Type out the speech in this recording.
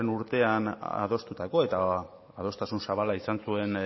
urtean adostutako eta adostasun zabala izan zuen